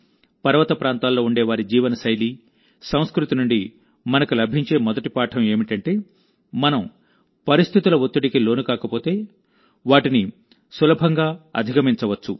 పర్వత ప్రాంతాల్లో ఉండేవారి జీవనశైలి సంస్కృతి నుండి మనకు లభించే మొదటి పాఠం ఏమిటంటేమనం పరిస్థితుల ఒత్తిడికి లోనుకాకపోతే వాటిని సులభంగా అధిగమించవచ్చు